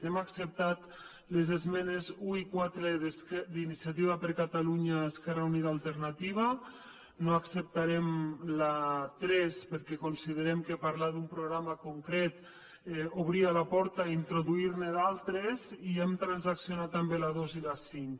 hem acceptat les esmenes un i quatre d’iniciativa per catalunya esquerra unida i alternativa no acceptarem la tres perquè considerem que parlar d’un programa concret obria la porta a introduir ne d’altres i hem transaccionat també la dos i la cinc